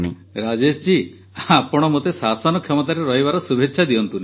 ରାଜେଶ ଜୀ ଆପଣ ମୋତେ ଶାସନ କ୍ଷମତାରେ ରହିବାର ଶୁଭେଚ୍ଛା ଦିଅନ୍ତୁନି